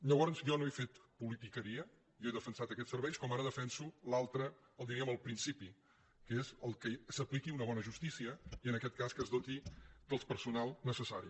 llavors jo no he fet politiqueria jo he defensat aquests serveis com ara defenso l’altre diríem el principi que és que s’apliqui una bona justícia i en aquest cas que es doti del personal necessari